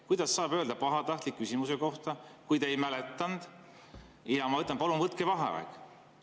Kuidas saab öelda "pahatahtlik" küsimuse kohta, kui te ei mäletanud, ja mina ütlesin, et palun võtke vaheaeg?